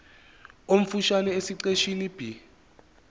omfushane esiqeshini b